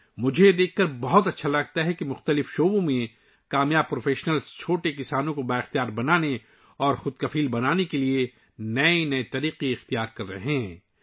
مجھے یہ دیکھ کر بہت خوشی ہوتی ہے کہ مختلف شعبوں میں کامیاب پیشہ ور افراد چھوٹے کسانوں کو بااختیار اور خود کفیل بنانے کے لیے نئے نئے طریقے اپنا رہے ہیں